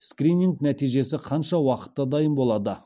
скрининг нәтижесі қанша уақытта дайын болады